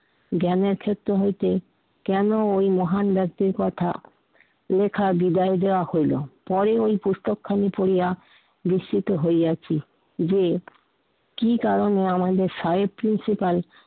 জ্ঞানের ক্ষেত্র হইতে কেন ঐ মহান ব্যক্তির কথা লেখা ঢুকাই দেয়া হলো। পরে ঐ পুস্তকখানি পড়িয়া নিশ্চিত হইয়াছি যে, কি কারণে আমাদের সাহেব প্রিন্সিপাল